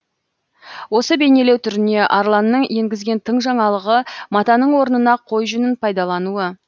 осы бейнелеу түріне арланның енгізген тың жаңалығы матаның орнына қой жүнін пайдалануы